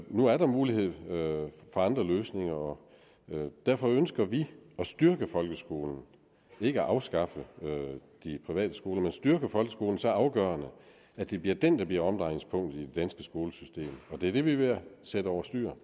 nu er der mulighed for andre løsninger og derfor ønsker vi at styrke folkeskolen ikke at afskaffe de private skoler men styrke folkeskolen så afgørende at det bliver den der bliver omdrejningspunktet i det danske skolesystem og det er det vi er ved at sætte over styr